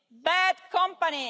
Bad company!